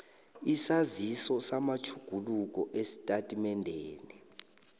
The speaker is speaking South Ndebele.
isaziso samatjhuguluko esitatimendeni